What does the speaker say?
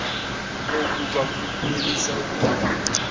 oku bakunyelise okuya